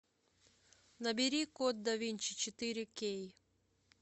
набери код да винчи четыре кей